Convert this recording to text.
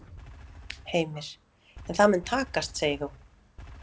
Heimir: En það mun takast segir þú?